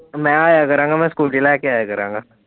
ਮੈਂ ਆਇਆ ਕਰਾਂਗਾ ਮੈਂ ਸਕੂਟੀ ਲੈ ਕੇ ਆਇਆ ਕਰਾਂਗਾ।